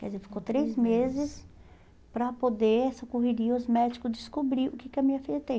Quer dizer, ficou três meses para poder, essa correria, os médicos descobrirem o que que a minha filha tem.